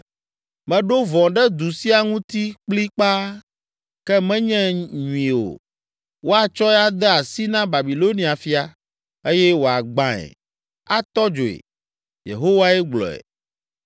Meɖo vɔ̃ ɖe du sia ŋuti kplikpaa, ke menye nyui o. Woatsɔe ade asi na Babilonia fia, eye wòagbãe, atɔ dzoe.’ Yehowae gblɔe.